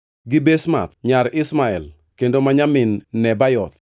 gi Basemath nyar Ishmael kendo ma nyamin Nebayoth.